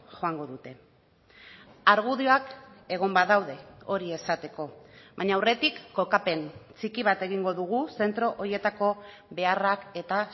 joango dute argudioak egon badaude hori esateko baina aurretik kokapen txiki bat egingo dugu zentro horietako beharrak eta